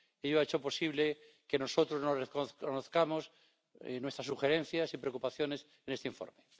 Ello ha hecho posible que nosotros nos reconozcamos con nuestras sugerencias y preocupaciones en este informe.